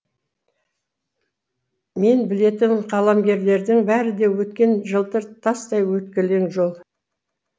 мен білетін қаламгерлердің бәрі де өткен жылтыр тастай өткелең жол